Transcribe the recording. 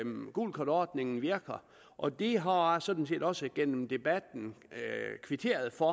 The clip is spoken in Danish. gulkortordningen virker og det har jeg sådan set også gennem debatten kvitteret for